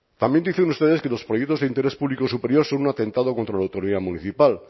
también dicen ustedes que los proyectos de interés público superior son un atentado contra la autoridad municipal